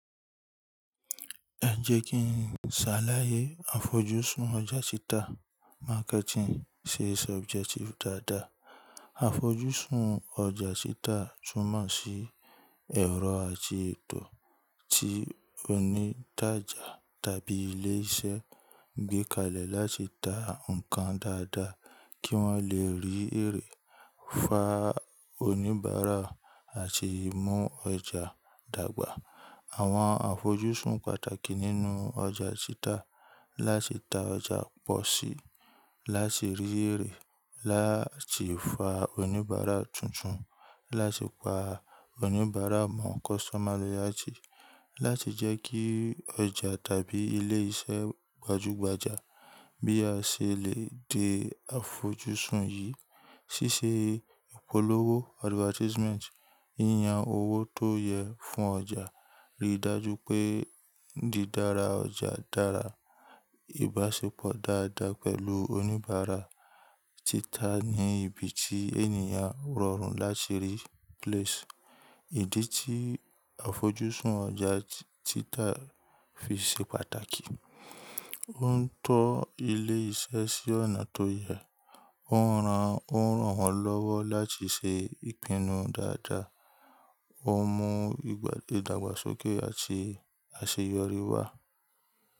Ẹ jẹ́ kí n ṣàlàyé àfojúsùn ọjà títa marketing ṣe subjective dáadáa. Àfojúsùn ọjà títa túmọ̀ sí ẹ̀rọ àti ètò tí onítàjà tàbí ilé iṣẹ́ gbé kalẹ̀ láti ta nǹkan dáadáa kí wọ́n lè rí èrè, fa oníbàárà àti mú ọjà dàgbà. Àwọn àfojúsùn pàtàkì nínú ọjà títa láti ta ọjà pọ̀ sí i, láti rí èrè, láti fa oníbàárà tuntun, láti pa oníbàárà mọ́ customer loyalty, láti jẹ́ kí ọjà tàbí ilé iṣẹ́ gbajúgbajà. Bí a ṣe lè de àfojúsùn yìí, ṣíṣe ìpolówó advertisement, yíyan owó tó yẹ fún ọjà, rí i dájú pé di dára ọjà dára, ìbáṣepọ̀ dáadáa pẹ̀lú oníbàárà, títa ní ibi tí ènìyàn rọrùn láti rí place. Ìdí tí àfojúsùn ọjà títa fi ṣe pàtàkì, ó ń tọ́ ilé iṣẹ́ sí ọ̀nà tó yẹ, ó ń ran, ó ń ràn wọ́n lọ́wọ́ láti ṣe ìpinnu dáadáa, ó mú ìdàgbàsókè àti àṣeyọrí wá.